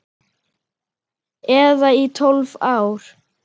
Eða í tólf ár?